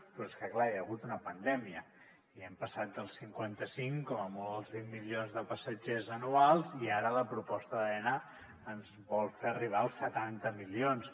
però és que clar hi ha hagut una pandèmia i hem passat dels cinquanta cinc com a molt als vint milions de passatgers anuals i ara la proposta d’aena ens vol fer arribar als setanta milions